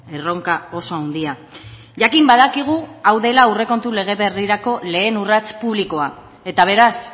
erronka oso handia jakin badakigu hau dela aurrekontu lege berrirako lehen urrats publikoa eta beraz